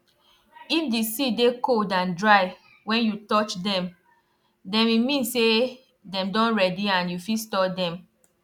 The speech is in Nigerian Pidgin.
if di seed dey cold and dry wen you touch dem dem e mean say dem don ready and you fit store dem